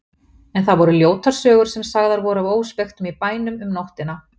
En það voru ljótar sögur sem sagðar voru af óspektum í bænum um nóttina.